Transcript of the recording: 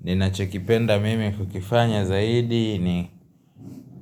Ninachokipenda mimi kukifanya zaidi ni